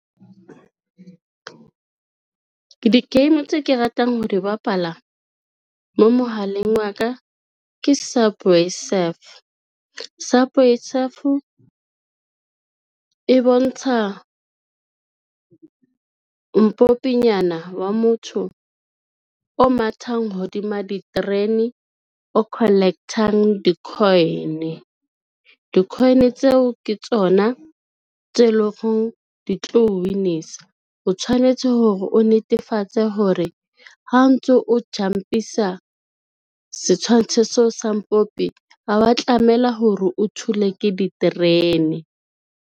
Di-game tse ke ratang ho di bapala mo mohaleng wa ka ke subway surf. Subway surf e bontsha mpopinyana wa motho o mathang hodima diterene, o collect-ang di-coin. Di-coin tseo ke tsona tse lo reng di tlo win-isa, o tshwanetse hore o netefatse hore ha o ntso o jump-isa setshwantsho seo sa mpompi, ha wa tlamela hore o thule ke diterene.